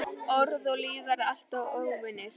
Orð og líf verða alltaf óvinir.